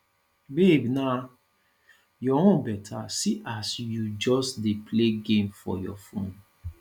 babe na your own beta see as you just dey play game for your phone